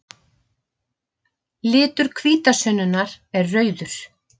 Litur hvítasunnunnar er rauður.